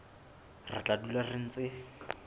re tla dula re ntse